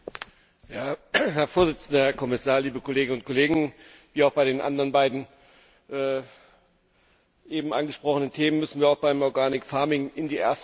Herr Präsident, Herr Kommissar, liebe Kolleginnen und Kollegen! Wie bei den anderen beiden eben angesprochenen Themen müssen wir auch beim in die zweite Lesung gehen.